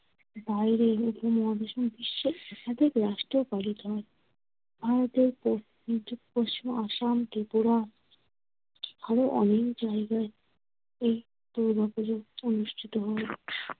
বাইরে উপমহাদেশ এবং বিশ্বে একাধিক রাষ্ট্রেও পালিত হয়। ভারতের পূব, মিজো, পশ্চিম আসাম, ত্রিপুরা আরো অনেক জায়গায় এ দুর্গাপুজো অনুষ্ঠিত হয়।